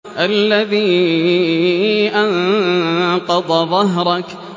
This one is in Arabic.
الَّذِي أَنقَضَ ظَهْرَكَ